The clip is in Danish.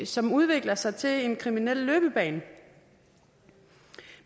som udvikler sig til en kriminel løbebane